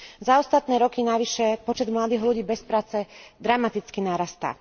Za ostatné roky navyše počet mladých ľudí bez práce dramaticky narastá.